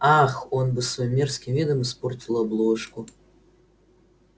ах он бы своим мерзким видом испортил обложку